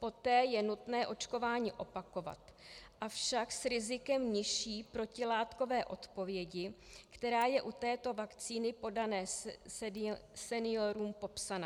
Poté je nutné očkování opakovat, avšak s rizikem nižší protilátkové odpovědi, která je u této vakcíny podané seniorům popsaná.